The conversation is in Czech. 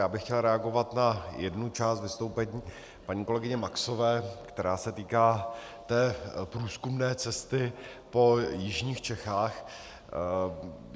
Já bych chtěl reagovat na jednu část vystoupení paní kolegyně Maxové, která se týká té průzkumné cesty po jižních Čechách.